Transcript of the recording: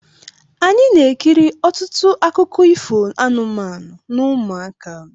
Anyị na-ekiri ọtụtụ akụkọ ifo anụmanụ n' ụmụaka.